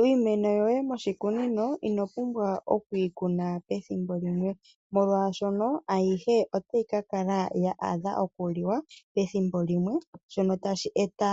Miimeno yoye moshikunino ino pumbwa okuyi ku na pethimbo limwe, molwashoka otayi ka kala ya adha okuliwa pethimbo limwe. Shika otashi eta